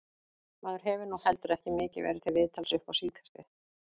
Maður hefur nú heldur ekki mikið verið til viðtals upp á síðkastið.